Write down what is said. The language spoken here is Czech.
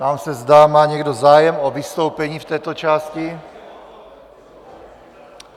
Ptám se, zda má někdo zájem o vystoupení v této části.